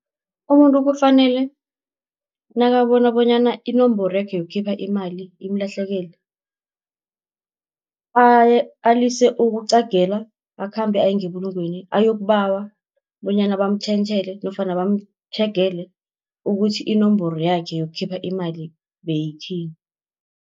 Umuntu kufanele nakabona bonyana inomboro yakhe yokukhipha imali imlahlekele, alise ukuqagela akhambe aye ngebulungelweni ayokubawa, bonyana bamtjhentjhele nofana bamtjhegele ukuthi inomboro yakhe yokukhipha imali beyithini.